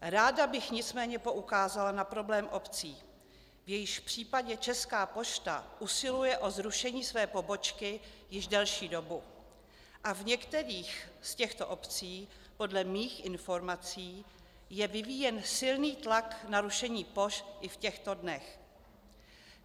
Ráda bych nicméně poukázala na problém obcí, v jejichž případě Česká pošta usiluje o zrušení své pobočky již delší dobu, a v některých z těchto obcí podle mých informací je vyvíjen silný tlak na rušení pošt i v těchto dnech.